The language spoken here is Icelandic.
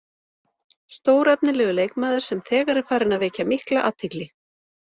Stórefnilegur leikmaður sem þegar er farinn að vekja mikla athygli.